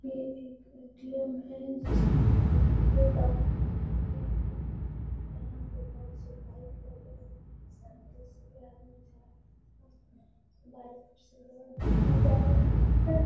ये एक ए.टी.एम. है। जिसमे भारतीय डाक लिखा हुआ है। यहाँ पे बहोत से बाइक लगे हुए हैं। साइकिल से भी आदमी जा रहा है। बाइक सिल्वर रंग का जा रहा है।